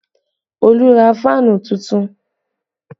Olu ra fáànù tuntun